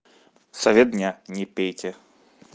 совет дня не пейте